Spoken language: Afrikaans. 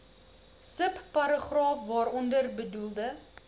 subparagraaf waaronder bedoelde